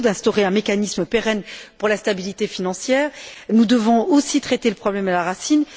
Feio d'instaurer un mécanisme pérenne pour la stabilité financière. Nous devons aussi traiter le problème à la racine.